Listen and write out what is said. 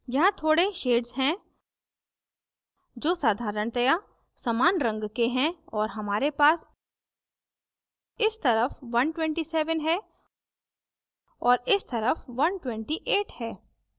यहाँ थोड़े shades हैं जो साधारणतया समान रंग के है और हमारे पास इस तरफ 127 है और इस तरफ 128 है